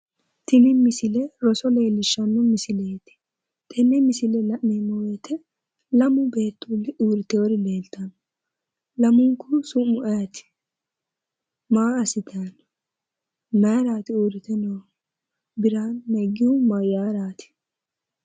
Tini misile roso leellishshanno misileeti. Tenne misile la'neemmo woyite lamu beettuulli urritewori leellitanni no. lamunkuhu su'mu ayeeooti? Maa assitanni no maa assitaraati uurritinohu? Birhanu neggihu mayyaaraati?